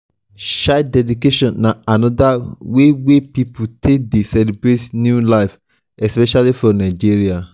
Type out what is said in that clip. child dedication na anoda wey wey pipo take dey celebrate new life especially for nigeria